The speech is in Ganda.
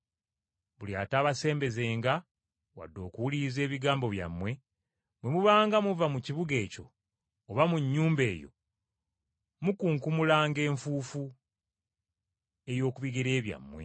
Buli atabasembezenga wadde okuwuliriza ebigambo byammwe, bwe mubanga muva mu kibuga ekyo oba mu nnyumba eyo, mukunkumulanga enfuufu ey’oku bigere byammwe.